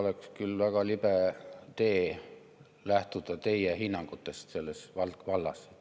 Oleks küll väga libe tee lähtuda teie hinnangutest selles vallas.